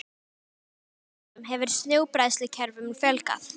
Á síðari árum hefur snjóbræðslukerfum fjölgað.